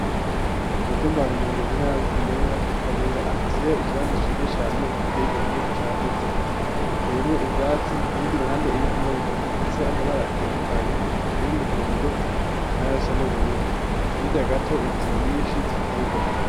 Umutumbar umongemunar bitenyerera kabura afiseyo ikibanza cyiza cyane giteye igomwe cyagutse hateyemo ibyatsi ku bindi ruhande ibivuma bitatu ifise amabara atandukanye ay umuhondo na yosa n'ubururu nkijagato inzu nyinshi ziteye igomwe.